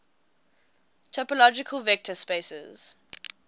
topological vector spaces